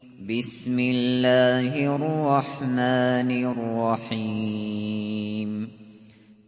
بِسْمِ اللَّهِ الرَّحْمَٰنِ الرَّحِيمِ